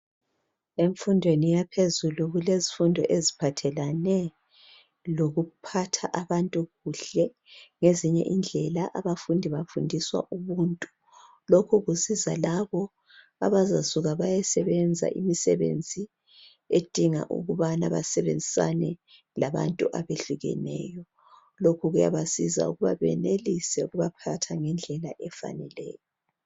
Emfundweni yaphezulu kulezifundo eziphathelane lokuphatha abantu kuhle ngezinye indlela abafundi bafundiswa ubuntu lokhu kusiza labo abazasuka beyesebenza imisebenzi edinga ukubana basebenzisana labantu abehlukeneyo lokhu kuyabasiza ukubana benelise ukubaphatha ngendlela efaneleyo